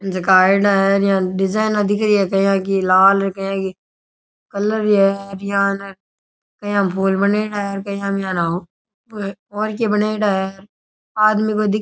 जका आयेड़ा है र यान डिजाइना दिख री है कया की लाल और कया की कलर ही है यहाँ कया के फूल बनेडा है और कया और के बनेडा है आदमी दिख़ --